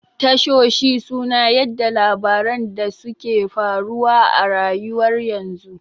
Tashoshi suna yaɗa labaran da suke faruwa a rayuwar yanzu